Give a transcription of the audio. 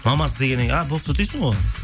мамасы дегеннен кейін а болыпты дейсің ғой